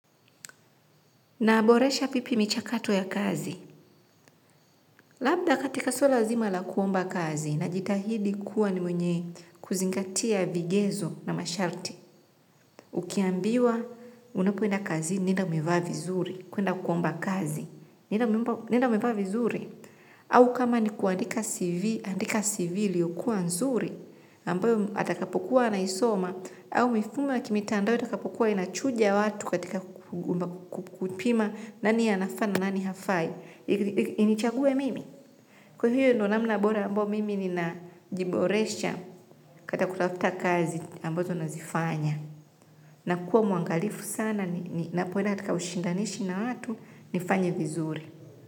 Naboresha pipi michakato ya kazi. Labda katika swala nzima la kuomba kazi najitahidi kuwa ni mwenye kuzingatia vigezo na masharti. Ukiambiwa unapoenda kazini nenda umevaa vizuri kuenda kuomba kazi. Nenda umevaa vizuri au kama ni kuandika CV andika CV iliyokuwa nzuri ambayo atakapokuwa anaisoma au mifumo ya kimitandao itakapukua inachuja watu katika kupima nani anafaa na nani hafai. Inichaguwe mimi. Kwani hiyo ndo namna bora ambayo mimi ninajiboresha kata kutafuta kazi ambazo nazifanya. Na kuwa muangalifu sana ninapoenda katika ushindanishi na watu nifanye vizuri.